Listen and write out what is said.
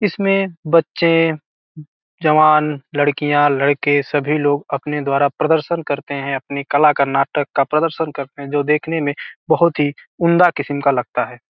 इसमें बच्चे जवान लड़कियाँ लड़के सभी लोग अपने द्वारा प्रदर्शन करते हैं। अपनी कला का नाटक का प्रदर्शन करते हैं जो देखने में बहुत ही उम्दा किस्म का लगता है |